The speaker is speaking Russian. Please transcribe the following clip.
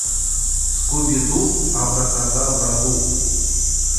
скуби ду абра кадабра ду